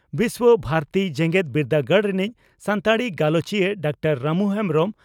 ᱵᱤᱥᱣᱚ ᱵᱷᱟᱨᱚᱛᱤ ᱡᱮᱜᱮᱛ ᱵᱤᱨᱫᱟᱹᱜᱟᱲ ᱨᱤᱱᱤᱡ ᱥᱟᱱᱛᱟᱲᱤ ᱜᱟᱞᱚᱪᱤᱭᱟᱹ ᱰᱟᱠᱛᱟᱨ ᱨᱟᱢᱩ ᱦᱮᱢᱵᱽᱨᱚᱢ